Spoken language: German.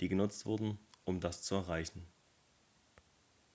die genutzt wurden um das zu erreichen